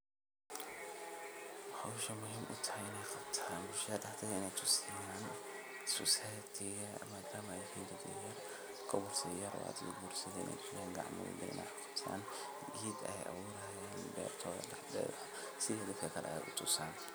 Howshan muhiim utahay in qataan bulshada daxdeedha in ey tusiyaan society ga madama dad yihin couples yar oo hada soguursadhe in ey gacama wadhajir eh wax kuqasadhan geed ayee abuurayan beertodha daxdeeda si ey dadka kale wax utusaan.